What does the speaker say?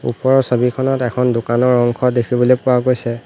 ওপৰৰ ছবিখনত এখন দোকানৰ অংশ দেখিবলৈ পোৱা গৈছে।